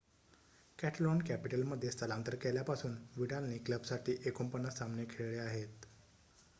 Catalan कॅपिटलमध्ये स्थलांतर केल्यापासून विडालने क्लबसाठी ४९ सामने खेळले आहेत